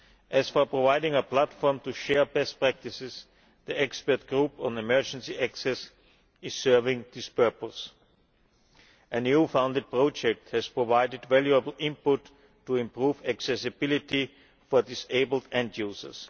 As for providing a platform to share best practices, the expert group on emergency access is serving this purpose. An EU funded project has provided valuable input to improve accessibility for disabled end users.